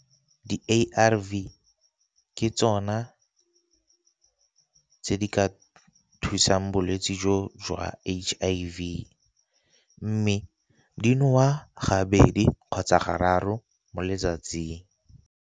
Di-A_R_V ke tsona tse di ka thusang bolwetse jo jwa H_I_V, mme di nowa gabedi kgotsa ga raro mo letsatsing.